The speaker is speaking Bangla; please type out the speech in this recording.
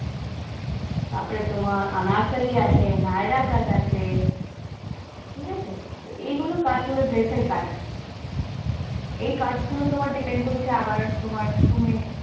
তারপরে তোমার আনারকলি আছে naira cut আছে, ঠিক আছে, তো এই গুলো cut হোলো, dress এর cut, এই cut গুলো তোমার depend করছে আবার তোমার তুমি